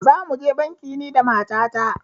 Za mu je banki ni da mata ta